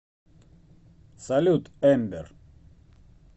салют эмбер